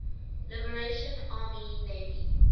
liberation army navy